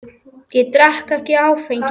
Ég drekk ekki áfengi.